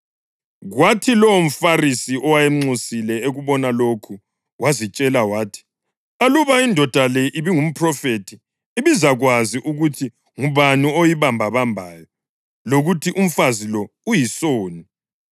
Kwathi lowomFarisi owayemnxusile ekubona lokho wazitshela wathi, “Aluba indoda le ibingumphrofethi, ibizakwazi ukuthi ngubani oyibambabambayo lokuthi umfazi lo uyisoni.”